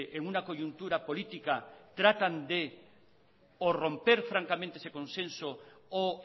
en una coyuntura política tratan de o romper francamente ese consenso o